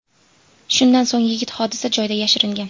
Shundan so‘ng yigit hodisa joyidan yashiringan.